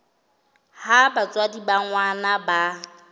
ha batswadi ba ngwana ba